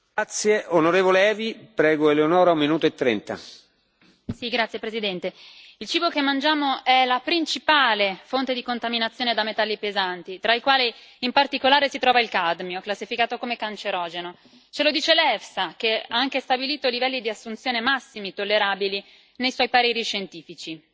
Signor Presidente, onorevoli colleghi, il cibo che mangiamo è la principale fonte di contaminazione da metalli pesanti, tra i quali, in particolare, si trova il cadmio, classificato come cancerogeno. Ce lo dice l'EFSA, che ha anche stabilito livelli di assunzione massimi tollerabili nei suoi pareri scientifici.